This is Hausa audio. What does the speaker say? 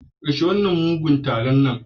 Karshen wannan mugunyar taron nan da nan